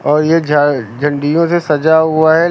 और ये झ झंडियों से सजा हुआ है।